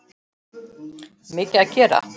Mikið að gera?